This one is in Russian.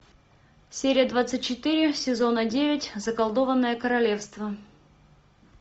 серия двадцать четыре сезона девять заколдованное королевство